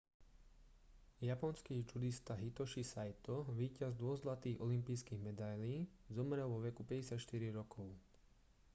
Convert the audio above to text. japonský džudista hitoshi saito víťaz dvoch zlatých olympijských medailí zomrel vo veku 54 rokov